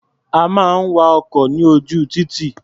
A máa ń wa ọkọ̀ ní ojú títì.